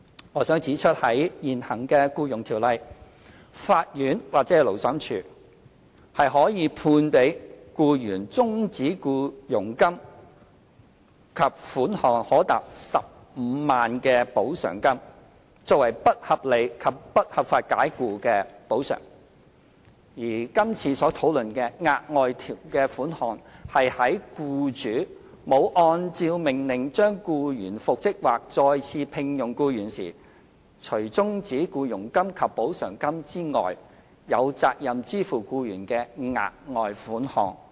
我想指出在現行《僱傭條例》下，法院或勞審處可判給僱員終止僱傭金及款項可達15萬元的補償金，作為不合理及不合法解僱的補償，而今次所討論的額外款項是在僱主沒有按照命令將僱員復職或再次聘用僱員時，除終止僱傭金及補償金之外，有責任支付僱員的額外款項。